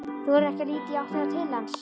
Þorir ekki að líta í áttina til hans.